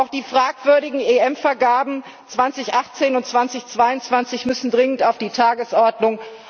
Auch die fragwürdigen EM Vergaben 2018 und 2022 müssen dringend auf die Tagesordnung.